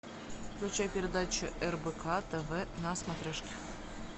включай передачу рбк тв на смотрешке